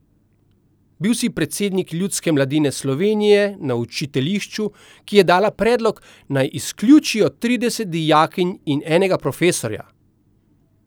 Bil si predsednik Ljudske mladine Slovenije na učiteljišču, ki je dala predlog, naj izključijo trideset dijakinj in enega profesorja!